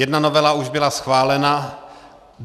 Jedna novela už byla schválena.